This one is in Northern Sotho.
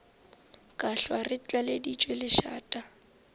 ka hlwa re tlaleditšwe lešata